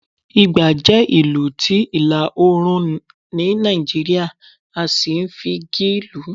ìgbà jẹ ìlù ti ilá- oorun ní Naijiria, a sí n fi igí lù